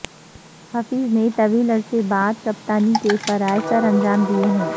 حفیظ نے طویل عرصے بعد کپتانی کے فرائض سرانجام دیے ہیں